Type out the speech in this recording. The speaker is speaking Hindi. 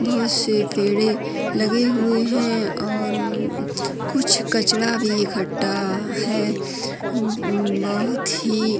बहोत से पेड़े लगे हुए हैं और कुछ कचड़ा भी एकट्ठा है उ म बहोत ही --